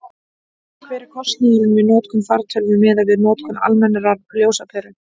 hver er kostnaðurinn við notkun fartölvu miðað við notkun almennrar ljósaperu